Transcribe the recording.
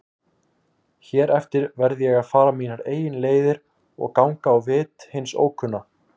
Hér eftir verð ég að fara mínar eigin leiðir og ganga á vit hins ókunna.